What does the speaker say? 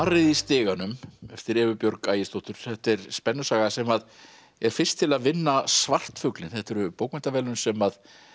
í stiganum eftir Evu Björg Ægisdóttur þetta er spennusaga sem er fyrst til að vinna svartfuglinn þetta eru bókmenntaverðlaun sem